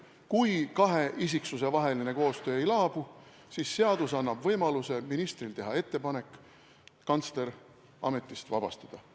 Kui kahe isiku vaheline koostöö ei laabu, siis seadus annab ministrile võimaluse teha ettepanek kantsler ametist vabastada.